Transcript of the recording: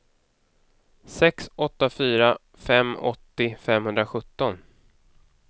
sex åtta fyra fem åttio femhundrasjutton